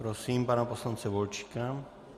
Prosím pana poslance Volčíka.